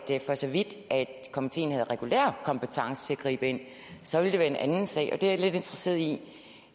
for så vidt komiteen havde regulær kompetence til at gribe ind så ville det være en anden sag det er jeg lidt interesseret i